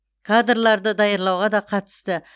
кадрларды даярлауға да қатысты